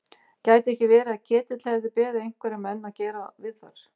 Gæti ekki verið að Ketill hefði beðið einhverja menn að gera við þær?